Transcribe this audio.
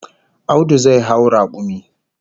Audu zai hau rakumi